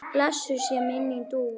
Blessuð sé minning Dúu.